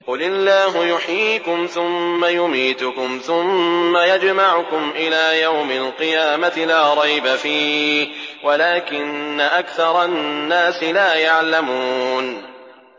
قُلِ اللَّهُ يُحْيِيكُمْ ثُمَّ يُمِيتُكُمْ ثُمَّ يَجْمَعُكُمْ إِلَىٰ يَوْمِ الْقِيَامَةِ لَا رَيْبَ فِيهِ وَلَٰكِنَّ أَكْثَرَ النَّاسِ لَا يَعْلَمُونَ